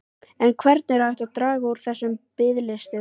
En hvernig er hægt að draga úr þessum biðlistum?